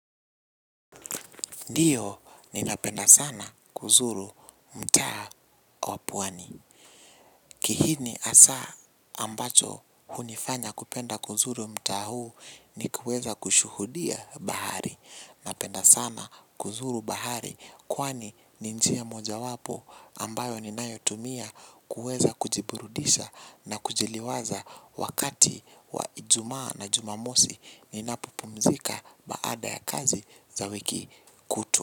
Ndiyo ninapenda sana kuzuru mta wapuani. Kihini hasa ambacho hunifanya kupenda kuzuru mta huu ni kuweza kushuhudia bahari. Napenda sana kuzuru bahari kwani ninjia moja wapo ambayo ninayotumia kuweza kujiburudisha na kujiliwaza wakati wa ijumaa na jumamosi ninapopumzika baada ya kazi za wiki kutwa.